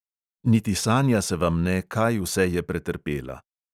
Niti sanja se vam ne, kaj vse je pretrpela.